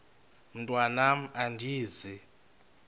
mntwan am andizi